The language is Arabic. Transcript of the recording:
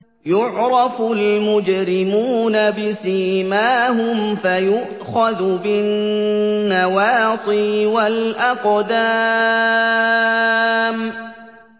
يُعْرَفُ الْمُجْرِمُونَ بِسِيمَاهُمْ فَيُؤْخَذُ بِالنَّوَاصِي وَالْأَقْدَامِ